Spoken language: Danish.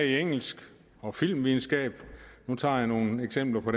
i engelsk og filmvidenskab nu tager jeg nogle eksempler